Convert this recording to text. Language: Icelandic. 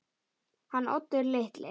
Hann Oddur litli?